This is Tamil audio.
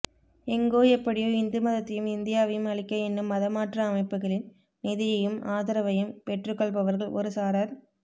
எங்கோ எப்படியோ இந்துமதத்தையும் இந்தியாவையும் அழிக்க எண்ணும் மதமாற்ற அமைப்புகளின் நிதியையும் ஆதரவையும் பெற்றுக்கொள்பவர்கள் ஒருசாரார்